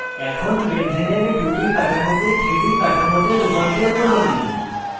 এখন benzene এর 2d কাঠামোকে 3d তে রূপান্তর করুন